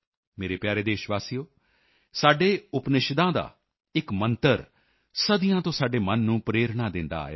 ਮੇਰੇ ਪਿਆਰੇ ਦੇਸ਼ਵਾਸੀਓ ਸਾਡੇ ਉਪਨਿਸ਼ਦਾਂ ਦਾ ਇਕ ਮੰਤਰ ਸਦੀਆਂ ਤੋਂ ਸਾਡੇ ਮਨ ਨੂੰ ਪ੍ਰੇਰਣਾ ਦਿੰਦਾ ਆਇਆ ਹੈ